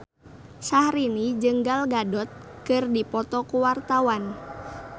Syahrini jeung Gal Gadot keur dipoto ku wartawan